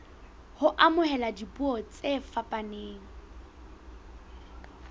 ho amohela dipuo tse fapaneng